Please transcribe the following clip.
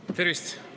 Tervist!